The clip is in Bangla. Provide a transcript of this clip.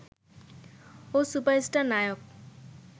ও সুপারস্টার নায়ক